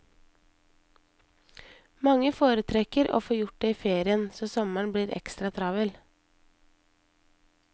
Mange foretrekker å få gjort det i ferien, så sommeren blir ekstra travel.